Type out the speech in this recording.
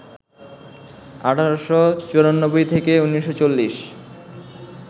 ১৮৯৪-১৯৪০